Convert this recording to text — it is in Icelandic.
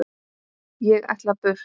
Ég ætla burt.